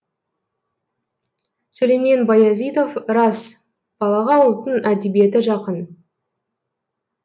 сүлеймен баязитов рас балаға ұлттың әдебиеті жақын